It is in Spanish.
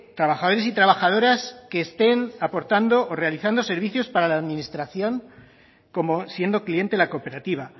trabajadores y trabajadoras que estén aportando realizando servicios para la administración como siendo cliente la cooperativa